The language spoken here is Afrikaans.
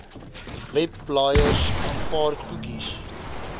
webblaaiers aanvaar koekies